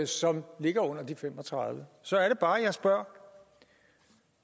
som ligger under de fem og tredive så er det bare jeg spørger